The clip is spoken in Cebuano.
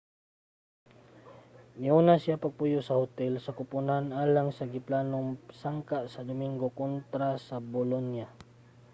niuna na siya og puyo sa hotel sa kupunan alang sa giplanong sangka sa dominggo kontra sa bolonia